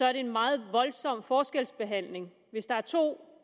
er en meget voldsom forskelsbehandling hvis der er to